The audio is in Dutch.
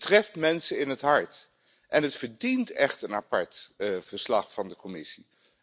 Het treft mensen in het hart en het verdient echt een apart verslag van de Commissie.